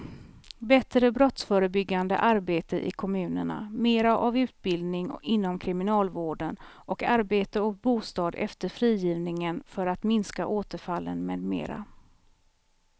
Bättre brottsförebyggande arbete i kommunerna, mera av utbildning inom kriminalvården och arbete och bostad efter frigivningen för att minska återfallen med mera.